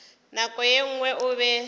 nako ye nngwe o be